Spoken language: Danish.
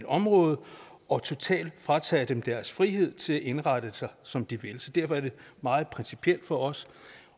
område og totalt fratager dem deres frihed til at indrette sig som de vil derfor er det meget principielt for os